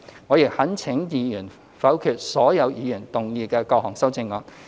我亦懇請議員否決所有議員提出的各項修正案。